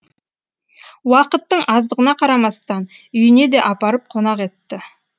уақыттың аздығына қарамастан үйіне де апарып қонақ етті